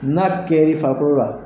N'a kɛr'i farikɔlɔ la